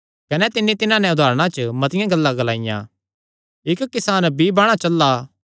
कने तिन्नी तिन्हां नैं उदारणा च मतिआं गल्लां ग्लाईयां इक्क किसान बीई बाणा चला